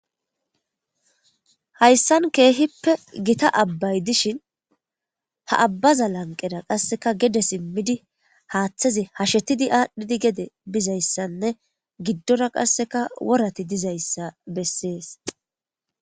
hayssan keehippe gita abbay dishin ha abbaza lanqera qasseka gede simmidi haaththaze hashetidi aadhdhidi gede bizayssanne giddora qasseka worati dizayssa bessees